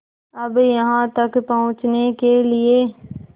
अब यहाँ तक पहुँचने के लिए